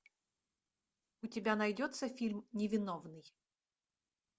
у тебя найдется фильм невиновный